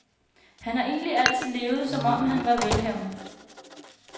Han har egentlig altid levet, som om han var velhavende.